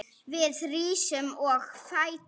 Við rísum á fætur.